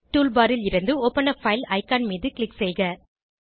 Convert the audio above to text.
toolbar லிருந்து open a file icon மீது click செய்க